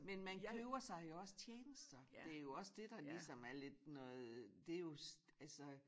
Men man køber sig jo også tjenester det også det der ligesom er lidt noget det jo altså